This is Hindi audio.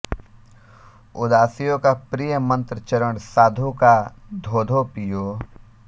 उदासियों का प्रिय मंत्र चरण साधु का धोधो पियो